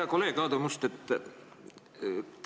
Hea kolleeg Aadu Must!